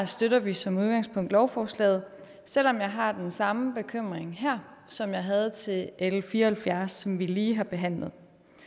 støtter vi som udgangspunkt lovforslaget selv om jeg har den samme bekymring her som jeg havde til l fire og halvfjerds som vi lige har behandlet